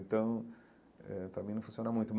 Então eh, para mim, não funciona muito.